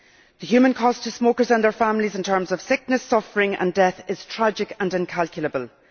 The human cost to smokers and their families in terms of sickness, suffering and death is tragic and incalculable.